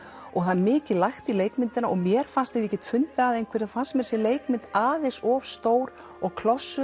og það er mikið lagt í leikmyndina og mér fannst ef ég get fundið að einhverju fannst mér þessi leikmynd aðeins of stór og